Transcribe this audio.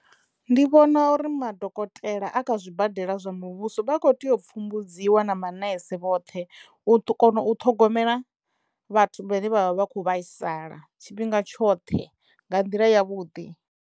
Ndi vhona uri madokotela a kha zwibadela zwa muvhuso vha kho teyo u pfumbudziwa na manese vhoṱhe u kona u ṱhogomela vhathu vhane vha vha vha kho vhaisala tshifhinga tshoṱhe nga nḓila ya vhuḓi.